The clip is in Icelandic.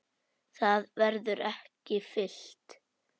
Það verður ekki fyllt.